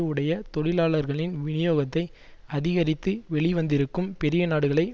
உடைய தொழிலாளர்களின் விநியோகத்தை அதிகரித்து வெளிவந்திருக்கும் பெரியநாடுகளை